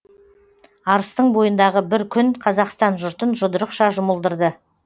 арыстың бойындағы бір күн қазақстан жұртын жұдырықша жұмылдырды